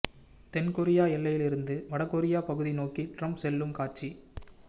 தென் கொரிய எல்லையிலிருந்து வட கொரிய பகுதி நோக்கி ட்ரம்ப் செல்லும் காட்சி